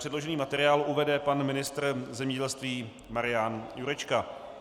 Předložený materiál uvede pan ministr zemědělství Marian Jurečka.